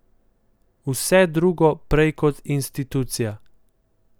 Vse drugo prej kot institucija.